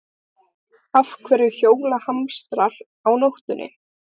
Af hverju hjóla hamstrar á nóttinni?